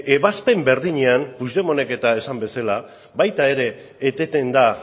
ebazpen berdinean puigdemontek eta esan bezala baita ere eteten da